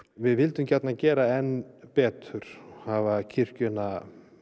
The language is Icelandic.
við vildum gjarnan gera enn betur hafa kirkjuna